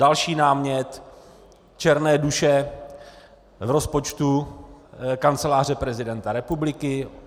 Další námět - černé duše v rozpočtu Kanceláře prezidenta republiky.